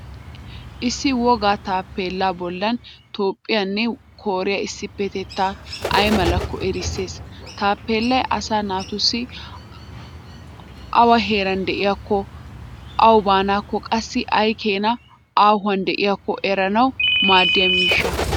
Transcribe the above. Issi wogga taappeellaa bollan toophphiyaanne kooriya issipettettay ay malakko erisses. Taappeellay asaa naatussi awaa heeran diyakko, awu baanaakko qassi ay keena haahuwan diyakko eranawu maaddiya miishsha.